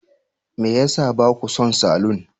Me ya sa ba ku son salon?